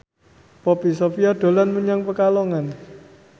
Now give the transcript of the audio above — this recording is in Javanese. Poppy Sovia dolan menyang Pekalongan